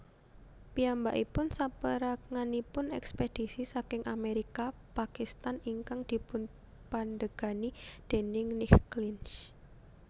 Piyambakipun saperanganipun ekspedisi saking Amerika Pakistan ingkang dipunpandegani déning Nick Clinch